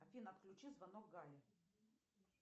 афина отключи звонок гале